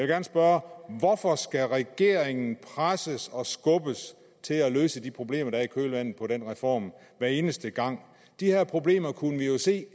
gerne spørge hvorfor skal regeringen presses og skubbes til at løse de problemer der er i kølvandet på den reform hver eneste gang de her problemer kunne vi jo se